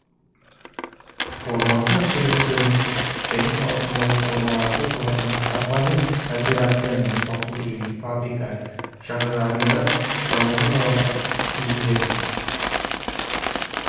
формасы абсолюті және салыстырмалы формаларды олардың қарапайым кооперация мануфактура және фабрика жағдайларында дамуының жалғастық кезеңдерін